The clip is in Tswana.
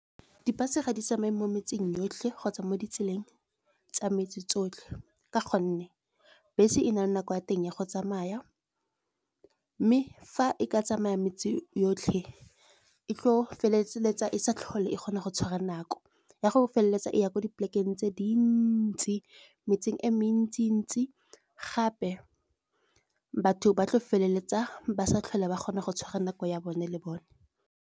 Di-bus ga di tsamaye mo metseng yotlhe kgotsa mo ditseleng tsa metse tsotlhe. Ka gonne bese e nako ya teng ya go tsamaya, mme fa e ka tsamaya metse yotlhe e tlo feleletsa e sa tlhole e kgona go tshwara nako. Ya go feleletsa e ya kwa di-plekeng tse dintsi, metseng e mentsi-ntsi gape, batho ba tla feleletsa ba sa tlhole ba kgona go tshwara nako ya bone le bone.